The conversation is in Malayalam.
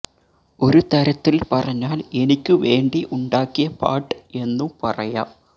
ഒരു തരത്തിൽ പറഞ്ഞാൽ എനിക്കു വേണ്ടി ഉണ്ടാക്കിയ പാട്ട് എന്നു പറയാം